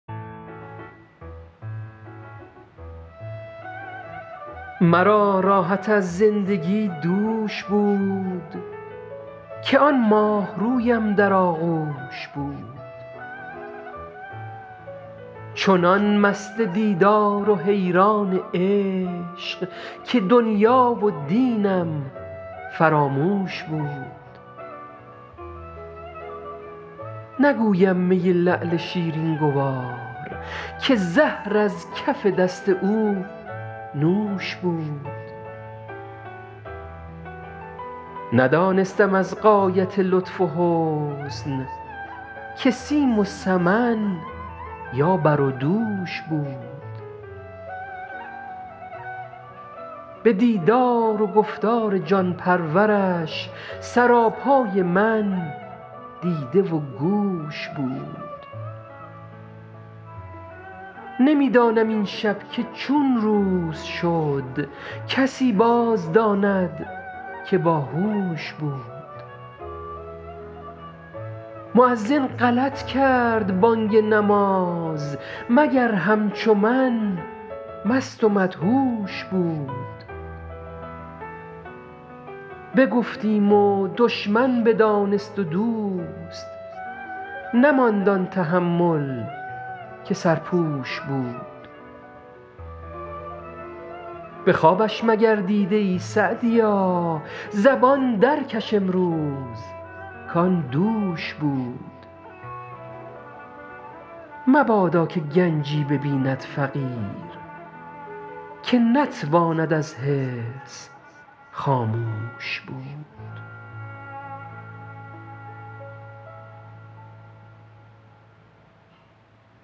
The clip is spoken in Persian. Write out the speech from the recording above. مرا راحت از زندگی دوش بود که آن ماهرویم در آغوش بود چنان مست دیدار و حیران عشق که دنیا و دینم فراموش بود نگویم می لعل شیرین گوار که زهر از کف دست او نوش بود ندانستم از غایت لطف و حسن که سیم و سمن یا بر و دوش بود به دیدار و گفتار جان پرورش سراپای من دیده و گوش بود نمی دانم این شب که چون روز شد کسی باز داند که با هوش بود مؤذن غلط کرد بانگ نماز مگر همچو من مست و مدهوش بود بگفتیم و دشمن بدانست و دوست نماند آن تحمل که سرپوش بود به خوابش مگر دیده ای سعدیا زبان در کش امروز کآن دوش بود مبادا که گنجی ببیند فقیر که نتواند از حرص خاموش بود